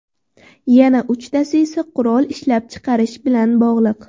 Yana uchtasi esa qurol ishlab chiqarish bilan bog‘liq.